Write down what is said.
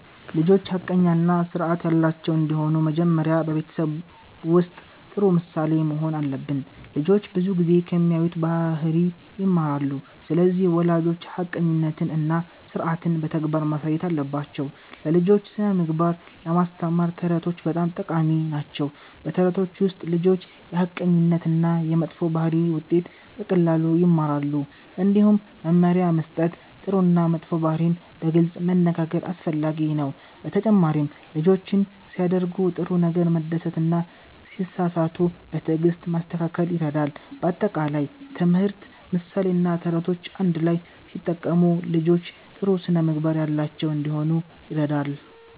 ልጆች ሐቀኛ እና ስርዓት ያላቸው እንዲሆኑ መጀመሪያ በቤተሰብ ውስጥ ጥሩ ምሳሌ መሆን አለብን። ልጆች ብዙ ጊዜ ከሚያዩት ባህሪ ይማራሉ። ስለዚህ ወላጆች ሐቀኝነትን እና ስርዓትን በተግባር ማሳየት አለባቸው። ለልጆች ስነ-ምግባር ለማስተማር ተረቶች በጣም ጠቃሚ ናቸው። በተረቶች ውስጥ ልጆች የሐቀኝነት እና የመጥፎ ባህሪ ውጤት በቀላሉ ይማራሉ። እንዲሁም መመሪያ መስጠት፣ ጥሩ እና መጥፎ ባህሪን በግልጽ መነጋገር አስፈላጊ ነው። በተጨማሪም ልጆችን ሲያደርጉ ጥሩ ነገር መደሰት እና ሲሳሳቱ በትዕግስት ማስተካከል ይረዳል። በአጠቃላይ ትምህርት፣ ምሳሌ እና ተረቶች አንድ ላይ ሲጠቀሙ ልጆች ጥሩ ስነ-ምግባር ያላቸው እንዲሆኑ ይረዳል።